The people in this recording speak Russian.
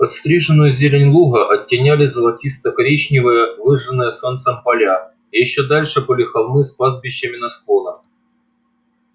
подстриженную зелень луга оттеняли золотисто коричневые выжженные солнцем поля ещё дальше были холмы с пастбищами на склонах